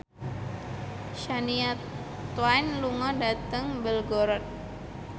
Shania Twain lunga dhateng Belgorod